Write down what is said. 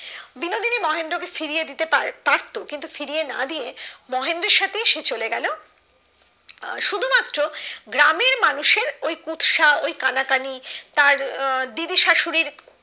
বিনোদিনী মহেন্দ্র কে ফিরিয়ে দিতে পারতো ফিরিয়ে না দিয়ে মহেন্দ্রর সাথে সে চলে গেলো শুধু মাত্র গ্রামের মানুষের ওই কুৎসা ওই কানা কানি তার আহ তার দিদি শাশুড়ির